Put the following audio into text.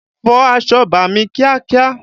Fọ aṣọ bàámi kíákíá!